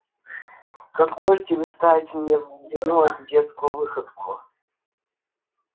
как можете вы ставить мне в вину эту детскую выходку